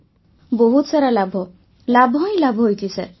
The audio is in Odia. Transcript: ବର୍ଷାବେନ୍ ବହୁତ ସାରା ଲାଭ ଲାଭ ହିଁ ଲାଭ ହୋଇଛି ସାର୍